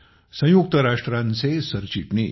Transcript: संयुक्त राष्ट्रांचे सरचिटणीस